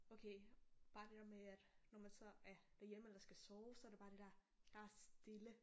Okay bare det der med at nå man så er derhjemme eller skal sove så er det bare det der med at der er stille